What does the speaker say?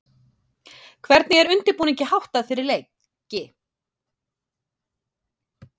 Hvernig er undirbúningi háttað fyrir leiki?